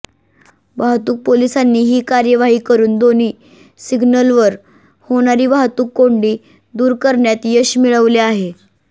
वाहतूक पोलिसांनी ही कार्यवाही करून दोन्ही सिग्नलवर होणारी वाहतूक कोंडी दूर करण्यात यश मिळविले आहे